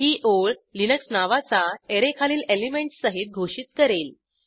ही ओळ लिनक्स नावाचा अॅरे खालील एलिमेंटस सहित घोषित करेल